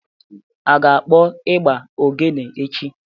A ga-akpọ ịgbà oghene echi?